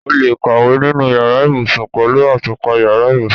O lè kàwé nínú yàrá ibùsùn pẹ̀lú àtùpà yàrá ibùsùn.